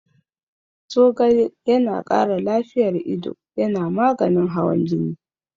Zogale yana ƙara lafiyar ido, yana maganin hawan jini.